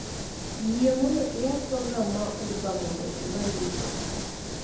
Yie mondo iyaw program ma uber mondo imany mtoka